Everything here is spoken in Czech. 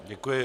Děkuji.